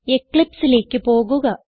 Eclipseലേക്ക് പോകുക